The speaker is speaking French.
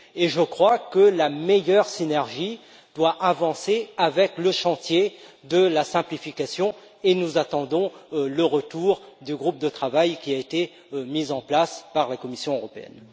Je crois que la meilleure synergie doit avancer avec le chantier de la simplification, et nous attendons le retour du groupe de travail qui a été mis en place par la Commission européenne.